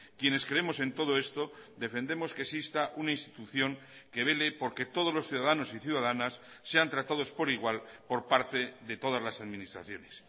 quienes creemos en todo esto defendemos que exista una institución que vele porque todos los ciudadanos y ciudadanas sean tratados por igual por parte de todas las administraciones